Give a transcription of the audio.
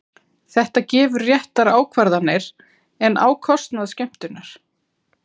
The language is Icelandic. Þetta gefur réttar ákvarðanir, en á kostnað. skemmtunar?